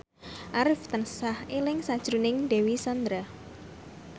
Arif tansah eling sakjroning Dewi Sandra